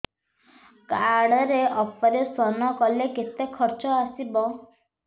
card ରେ operation କଲେ କେତେ ଖର୍ଚ ଆସିବ